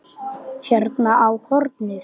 Hún stökk fram í gang.